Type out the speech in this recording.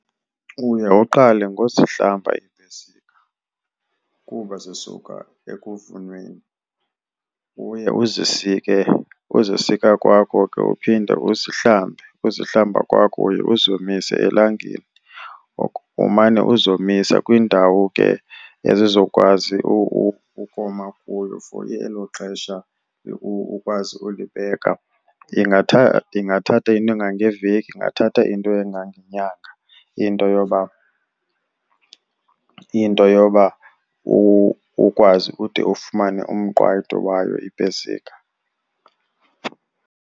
Uye uqale ngokuzihlamba iipesika kuba zisuka ekuvunweni. Uye uzisike, uzisika kwakho ke uphinde uzihlambe. Uzihlamba kwakho uye uzomise elangeni, umane uzomisa kwindawo ke ezizokwazi ukoma kuyo for elo xesha ukwazi ulibeka. Ingathatha into engangeveki ingathatha into engangenyanga into yoba, into yoba ukwazi ude ufumane umqwayito wayo ipesika.